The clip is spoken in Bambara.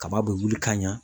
Kaba bɛ wuli ka ɲa.